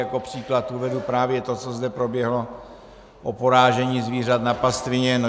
Jako příklad uvedu právě to, co zde proběhlo o porážení zvířat na pastvině.